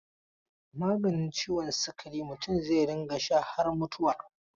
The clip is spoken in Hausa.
Maganin ciwon sikari mutum zai rinƙa sha har mutuwa.